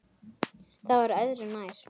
Það var öðru nær.